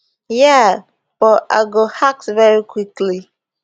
yeah but i go act very quickly